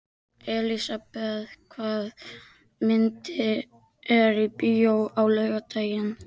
Elisabeth, hvaða myndir eru í bíó á laugardaginn?